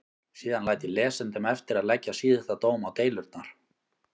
Síðan læt ég lesendum eftir að leggja síðasta dóm á deilurnar.